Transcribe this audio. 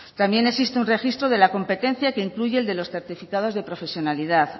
también existe un registro de la competencia que incluye el de los certificados de profesionalidad